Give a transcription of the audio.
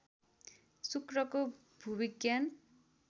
शुक्रको भूविज्ञान